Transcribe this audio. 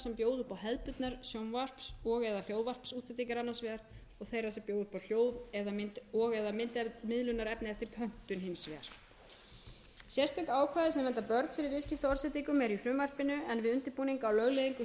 samkeppnisstöðu þeirra fjölmiðlaþjónustuveitenda sem bjóða upp á hefðbundnar sjónvarps og eða myndmiðlunarefni eftir pöntun hins vegar sérstök ákvæði sem vernda börn fyrir viðskiptaorðsendingum eru í frumvarpinu en við undirbúning á lögleiðingu